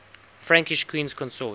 frankish queens consort